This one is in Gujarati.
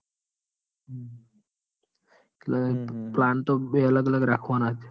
એટલે plan તો બે અલગ અલગ રાખવાના જ.